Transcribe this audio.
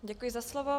Děkuji za slovo.